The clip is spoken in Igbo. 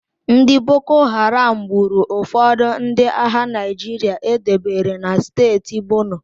Ndị Boko Haram gburu ụfọdụ ndị agha Naịjirịa e debere na steeti Borno